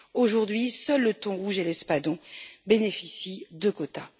Aujourd'hui, seuls le thon rouge et l'espadon bénéficient de quotas.